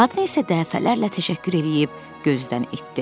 Qadın isə dəfələrlə təşəkkür eləyib gözdən itdi.